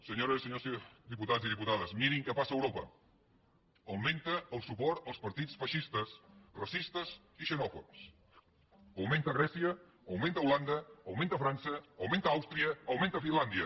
senyores i senyors diputats i diputades mirin què passa a europa augmenta el suport als partits feixistes racistes i xenòfobs augmenta a grècia augmenta a holanda augmenta a frança augmenta a àustria augmenta a finlàndia